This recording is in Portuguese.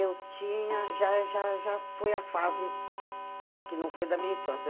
Eu tinha, já já já foi a fase que não foi da minha infância.